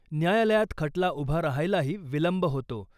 न्यायालयात खटला उभा रहायलाही विलंब होतो .